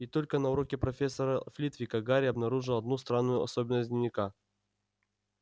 и только на уроке профессора флитвика гарри обнаружил одну странную особенность дневника